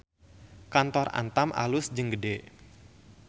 Kantor Antam alus jeung gede